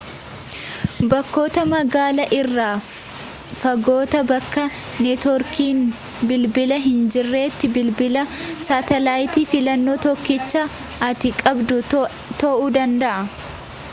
bakkoota magaalaa irra fagootti bakka neetworkiin bilbilaa hin jirretti bilbilli saatalayitii filannoo tokkicha ati qabdu ta'uu danda'a